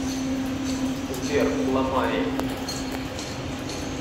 сбер ламай